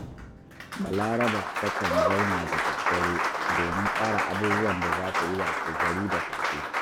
Balaraba takan zauna da daddare domin tsara abubuwan da za ta yi washegari da safe